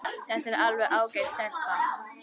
Þetta er alveg ágæt stelpa.